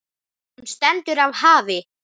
Hún stendur af hafi.